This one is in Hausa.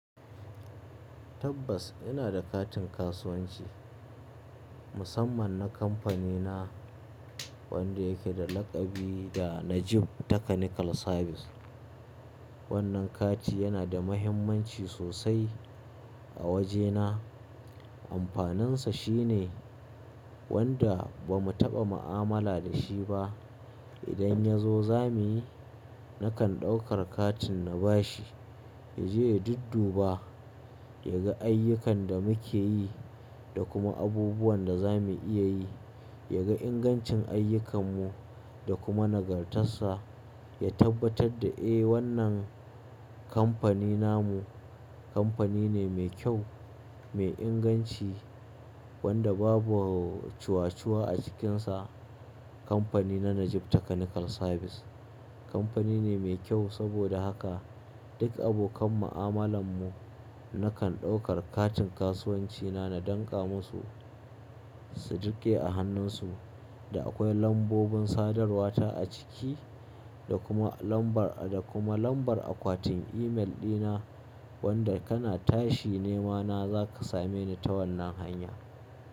Tabbas ina da katin kasuwanci musamman na kamfanina wanda yake da lakabi da Najib Technical Service. Wannan kati yana da mahimmanci sosai a wajena. Amfaninsa shine wanda ba mu taɓa mu'amala da shi ba idan ya zo zamuyi, nakan ɗaukar katin na bashi. Yaje ya dudduba, yaga ayyukan da mukeyi da kuma abubuwan da zamu iya yi. Ya ga ingancin ayyukanmu da kuma nagartarsa, ya tabbatar da eh wannan kamfanin namu kamfani ne mai kyau, mai inganci wanda babu cuwa-cuwa a cikinsa. Kamfani na Najib Technical Service kamfani ne mai kyau saboda haka duk abokan mu'amalanmu nakan ɗaukar katin kasuwancina na danƙa masu su riƙe a hannunsu. Da akwai lambobin sadarwa ta a ciki da kuma lambar, da kuma lambar akwatin email ɗina wanda kana tashi nema na zaka same ni ta wannan hanya.